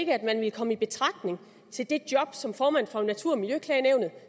ikke at man ville komme i betragtning til det job som formand for natur og miljøklagenævnet